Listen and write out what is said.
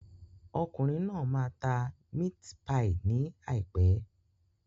Okùnrin náà máa máa ta mit-pai ní àìpé.